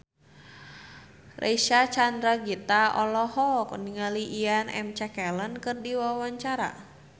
Reysa Chandragitta olohok ningali Ian McKellen keur diwawancara